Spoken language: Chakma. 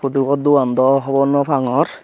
hudugo dogan daw hobor nw pangor.